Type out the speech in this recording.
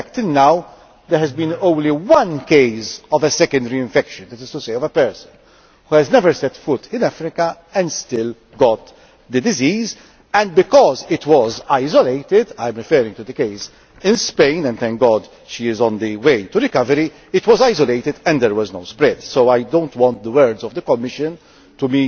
In fact, until now there has been only one case of a secondary infection that is to say, of a person who has never set foot in Africa and still got the disease and because it was isolated I am referring to the case in Spain and, thank God, she is on the way to recovery it was an isolated one and did not spread. So, I do not want the words of the Commission to